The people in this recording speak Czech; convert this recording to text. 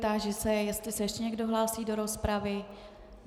Táži se, jestli se ještě někdo hlásí do rozpravy.